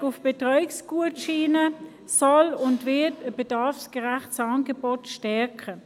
Die Umstellung auf Betreuungsgutscheine soll und wird ein bedarfsgerechtes Angebot stärken.